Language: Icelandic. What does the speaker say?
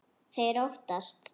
Þeir óttast.